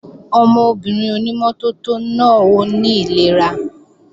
Ọmọbìnrin ònímọ́tótó náà ó ní ìlera